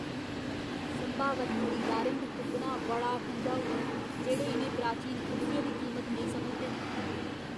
संभावत खरीदारें गी तुप्पना बड़ा खंझाऊ ऐ जेह्ड़े इ'नें प्राचीन कुर्सियें दी कीमत नेईं समझदे ।